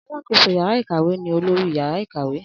Alákoso yàrá ìkàwé ni olórí yàrá ìkàwé